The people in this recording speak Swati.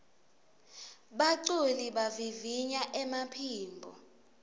baculi bavivinya emaphimbo